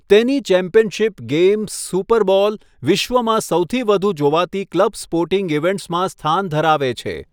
તેની championship game, super bowl, વિશ્વમાં સૌથી વધુ જોવાતી ક્લબ સ્પોર્ટિંગ ઇવેન્ટ્સમાં સ્થાન ધરાવે છે.